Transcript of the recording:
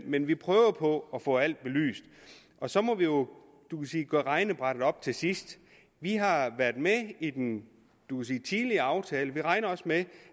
men vi prøver på at få alt belyst og så må vi jo gøre regnebrættet op til sidst vi har har været med i den tidligere aftale og vi regner også med